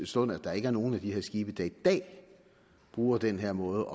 stund at der ikke er nogen af de her skibe der i dag bruger den her måde